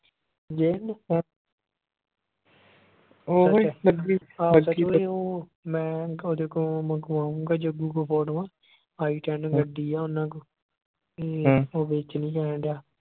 ਆਹ ਸੱਚ ਓਏ ਉਹ ਮੈਂ ਓਹਦੇ ਕੋ ਮੰਗਵਾਉਗਾ ਜੱਗੂ ਕੋ ਫੋਟੋਆਂ item ਗੱਡੀ ਹੈ ਉਹਨਾਂ ਕੋਲੋ ਉਹ ਵੇਚਣੀ ਆਂ ਕਹਿਣ ਦਿਆ